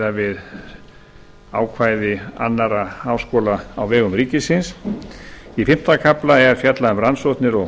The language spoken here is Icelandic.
miðað við ákvæði annarra háskóla á vegum ríkisins í fimmta kafla er fjallað um rannsóknir og